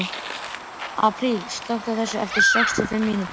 Apríl, slökktu á þessu eftir sextíu og fimm mínútur.